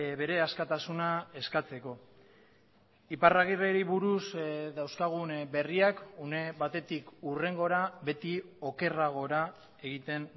bere askatasuna eskatzeko iparragirreri buruz dauzkagun berriak une batetik hurrengora beti okerragora egiten